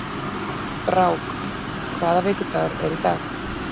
Brák, hvaða vikudagur er í dag?